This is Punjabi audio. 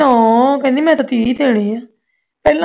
ਨਾ ਮੈਂ ਤੇ ਤੀਹ ਦੇਨੇ ਆਂ ਪਹਿਲਾਂ